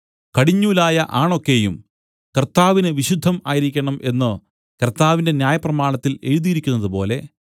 കടിഞ്ഞൂലായ ആണൊക്കെയും കർത്താവിന് വിശുദ്ധം ആയിരിക്കണം എന്നു കർത്താവിന്റെ ന്യായപ്രമാണത്തിൽ എഴുതിയിരിക്കുന്നത് പോലെ